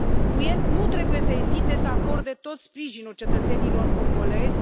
UE nu trebuie să ezite să acorde tot sprijinul cetățenilor congolezi.